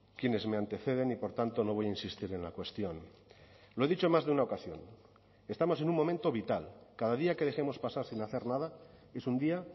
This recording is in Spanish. quienes me anteceden y por tanto no voy a insistir en la cuestión lo he dicho en más de una ocasión estamos en un momento vital cada día que dejemos pasar sin hacer nada es un día